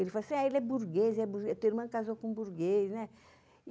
Ele falou assim, ele é burguês, tua irmã casou com um burguês, né?